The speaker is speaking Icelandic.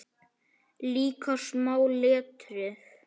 Líka smáa letrið.